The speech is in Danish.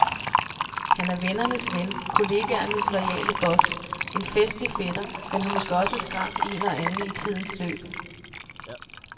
Han er vennernes ven, kollegernes loyale boss, en festlig fætter, men har måske også skræmt en og anden i tidens løb.